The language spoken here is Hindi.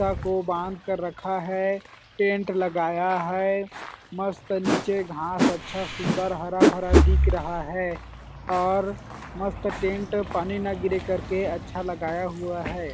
को बांध कर रखा है टेंट लगाया है मस्त नीचे घास अच्छा सुन्दर हरा-भरा दिख रहा है और मस्त टेंट पहने ना गिरे करके अच्छा लगाया हुआ है।